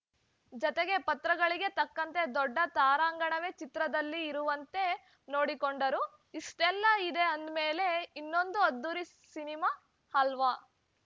ಜತೆಗೆ ಪಾತ್ರಗಳಿಗೆ ತಕ್ಕಂತೆ ದೊಡ್ಡ ತಾರಾಗಣವೇ ಚಿತ್ರದಲ್ಲಿ ಇರುವಂತೆ ನೋಡಿಕೊಂಡರು ಇಷ್ಟೆಲ್ಲ ಇದೆ ಅಂದ್ಮೇಲೆ ಇದೊಂದು ಅದ್ಧೂರಿ ಸಿನಿಮಾ ಅಲ್ವಾ